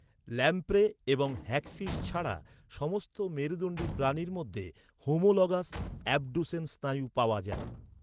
Lamprey এবং hagfish ছাড়া সমস্ত মেরুদণ্ডী প্রাণীর মধ্যে হোমোলগাস অ্যাবডুসেন স্নায়ু পাওয়া যায়।